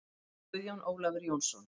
Guðjón Ólafur Jónsson